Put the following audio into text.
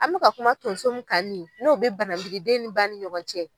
An mɛka kuma tonso min ka nin n'o bɛ banabidi den ni ba ni ɲɔgɔn cɛ.